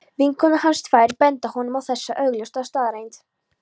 Vinkonur hans tvær benda honum á þessa augljósu staðreynd.